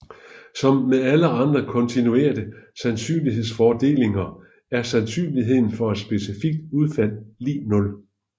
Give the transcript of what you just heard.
Som med alle andre kontinuerte sandsynlighedsfordelinger er sandsynligheden for et specifikt udfald lig nul